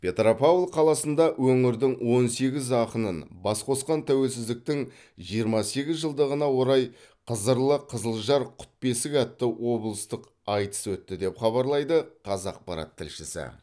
петропавл қаласында өңірдің он сегіз ақынын бас қосқан тәуелсіздіктің жиырма сегіз жылдығына орай қызырлы қызылжар құт бесік атты облыстық айтыс өтті деп хабарлайды қазақпарат тілшісі